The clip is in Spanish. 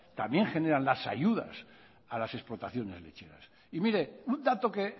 también a las explotaciones lecheras y mire un dato que